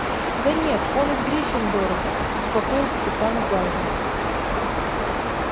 да нет он из гриффиндора успокоил капитана гарри